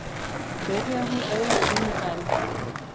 Byrjar hún einu sinni enn.